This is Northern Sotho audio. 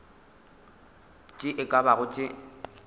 tše e ka bago tše